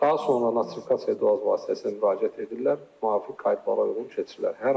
Daha sonra notifikasiya dual vasitəsilə müraciət edirlər, müvafiq qaydalara uyğun köçürürlər.